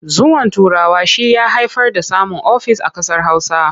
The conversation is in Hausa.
Zuwan Turawa shi ya haifar da samun ofis a ƙasar Hausa.